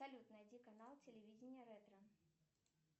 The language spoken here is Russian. салют найди канал телевидения ретро